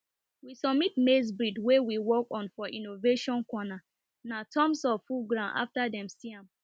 we submit maize breed wey we work on for innovation corner na thumbsup full ground after dem see am